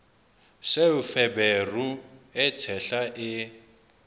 seo feberu e tshehla e